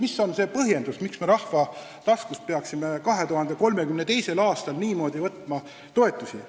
Mis on see põhjendus, miks me rahva taskust peaksime 2032. aastal niimoodi toetusraha võtma?